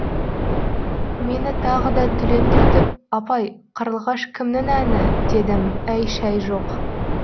мені тағы да түлен түртіп апай қарлығаш кімнің әні дедім әй шәй жоқ